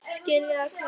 Skilaðu kveðju.